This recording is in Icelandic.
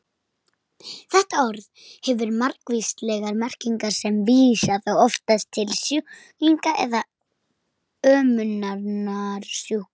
Þetta orð hefur margvíslegar merkingar sem vísa þó oftast til sjúklinga eða umönnunar sjúkra.